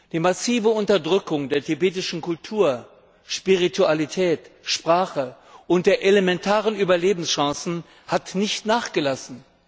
Die massive Unterdrückung der tibetischen Kultur, Spiritualität, Sprache und der elementaren Überlebenschancen hat nicht nachgelassen.